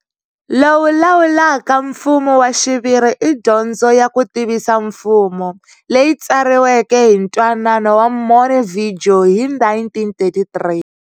Lowu lawulaka mfumo wa xiviri i dyondzo ya ku tivisa mfumo, leyi tsariweke hi Ntwanano wa Montevideo hi 1933.